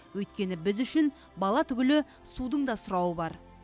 өйткені біз үшін бала түгілі судың да сұрауы бар